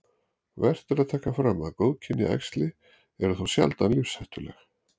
Vert er að taka fram að góðkynja æxli eru þó sjaldan lífshættuleg.